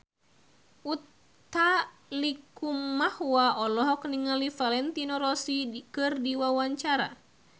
Utha Likumahua olohok ningali Valentino Rossi keur diwawancara